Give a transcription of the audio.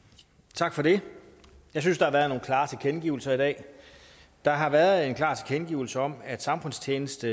tak for det jeg synes der har været nogle klare tilkendegivelser i dag der har været en klar tilkendegivelse om at samfundstjeneste